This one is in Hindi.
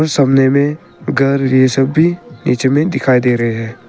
सामने में घर जैसा भी नीचे में दिखाई दे रहे हैं।